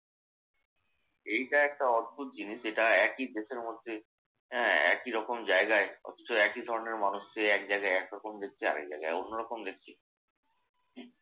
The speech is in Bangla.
এইটা একটা অদ্ভুত জিনিস। এটা একই দেশের মধ্যে হ্যাঁ একইরকম জায়গায় অথচ একই ধরনের মানুষ যে এক জায়গায় একরকম দেখছে আরেক জায়গায় অন্যরকম দেখছি। হম